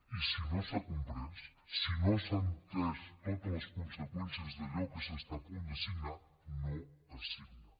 i si no s’ha comprès si no s’han entès totes les conseqüències d’allò que s’està a punt de signar no es signa